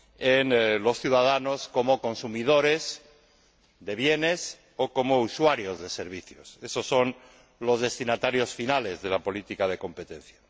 en los ciudadanos como consumidores de bienes o como usuarios de servicios esos son los destinatarios finales de la política de competencia.